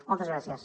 moltes gràcies